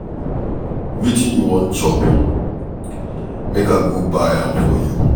Wetin you wan chop make I go buy am for you.